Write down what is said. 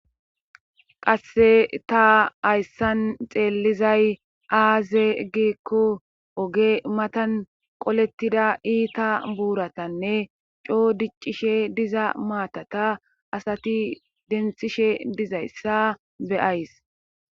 qasse ta hayssan xeellizay aaze gikko oge matan qolettida iita buuratanne coo diccishe diza maatata asati denthishe dizayssa beyays